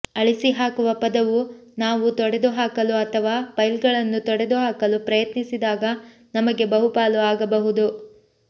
ಅಳಿಸಿಹಾಕುವ ಪದವು ನಾವು ತೊಡೆದುಹಾಕಲು ಅಥವಾ ಫೈಲ್ಗಳನ್ನು ತೊಡೆದುಹಾಕಲು ಪ್ರಯತ್ನಿಸಿದಾಗ ನಮಗೆ ಬಹುಪಾಲು ಆಗಬಹುದು